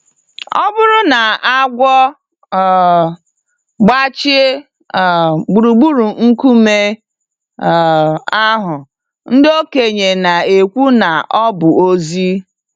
Ọ bụrụ na agwọ um gbachie um gburugburu nkume um ahụ, ndị okenye na-ekwu na ọ bụ ozi.